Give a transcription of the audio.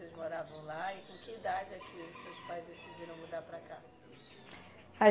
Vocês moravam lá e com que idade é que os seus pais decidiram mudar para cá?